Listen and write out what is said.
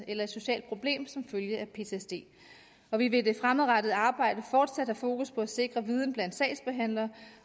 eller et socialt problem som følge af ptsd og vi vil i det fremadrettede arbejde fortsat have fokus på at sikre viden blandt sagsbehandlerne